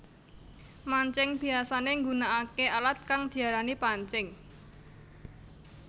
Mancing biyasané nggunakaké alat kang diarani pancing